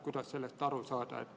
Kuidas sellest aru saada?